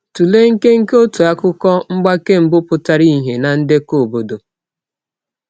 Tụlee nkenke otu akụkọ—mgbake mbụ pụtara ìhè na ndekọ obodo.